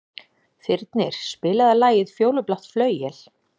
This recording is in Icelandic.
Þyrnir, spilaðu lagið „Fjólublátt flauel“.